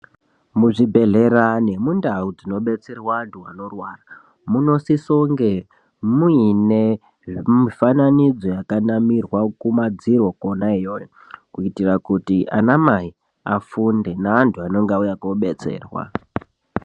Muzvibhedhlera nemundau dzinobetsera vanthu vanorwara munosisonge muine mifananidzo yakanamirwa kumadziro kona iyoyo kuitira kuti ana mai afunde neanthu anenga auye kobetserwa.